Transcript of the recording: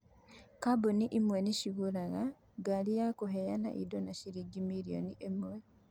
Kambuni ĩmwe nĩ ĩgũraga ngari ya kũheana indo na ciringi milioni ĩmwe.